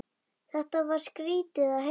Þetta var skrýtið að heyra.